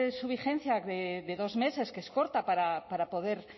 su vigencia de dos meses que es corta para poder